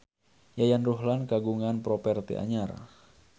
Yayan Ruhlan kagungan properti anyar